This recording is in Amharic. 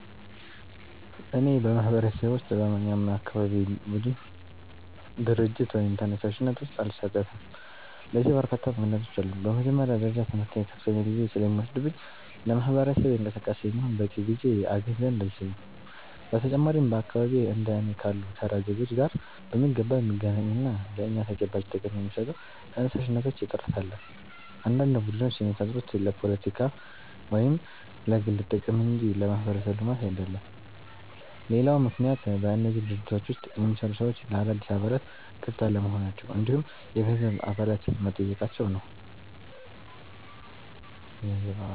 እኔ በማህበረሰቤ ውስጥ በማንኛውም የአካባቢ ቡድን፣ ድርጅት ወይም ተነሳሽነት ውስጥ አልሳተፍም። ለዚህ በርካታ ምክንያቶች አሉኝ። በመጀመሪያ ደረጃ ትምህርቴ ከፍተኛ ጊዜ ስለሚወስድብኝ ለማህበረሰብ እንቅስቃሴ የሚሆን በቂ ጊዜ አገኝ ዘንድ አልችልም። በተጨማሪም በአካባቢዬ እንደ እኔ ካሉ ተራ ዜጎች ጋር በሚገባ የሚገናኙና ለእኛ ተጨባጭ ጥቅም የሚሰጡ ተነሳሽነቶች እጥረት አለ፤ አንዳንድ ቡድኖች የሚፈጠሩት ለፖለቲካ ወይም ለግል ጥቅም እንጂ ለማህበረሰብ ልማት አይደለም። ሌላው ምክንያት በእነዚህ ድርጅቶች ውስጥ የሚሰሩ ሰዎች ለአዳዲስ አባላት ክፍት አለመሆናቸው እንዲሁም የገንዘብ አባልነት መጠየቃቸው ነው።